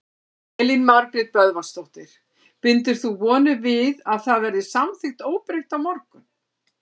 Elín Margrét Böðvarsdóttir: Bindur þú vonir við að það verði samþykkt óbreytt á morgun?